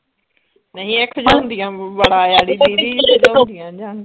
ਨਈ ਇਹ ਖਿਜਾਉਂਦੀਆਂ ਬੜਾ ਵ ਦੀਦੀ ਖਿਜਾਉਂਦੀਆਂ ਨੇ ਜਾਨ ਕੇ